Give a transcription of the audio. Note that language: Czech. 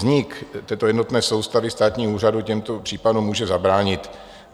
Vznik této jednotné soustavy státních úřadů těmto případům může zabránit.